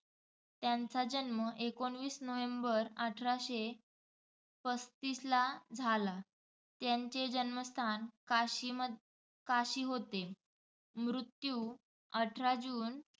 त्यांचा जन्म एकोणवीस नोव्हेंबर अठराशे पस्तीसला झाला. त्यांचे जन्मस्थान काशीमध्ये काशी होते. मृत्यू अठरा जून